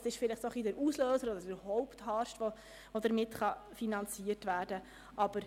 dieses war wahrscheinlich der Auslöser oder der Hauptharst, der so finanziert werden kann.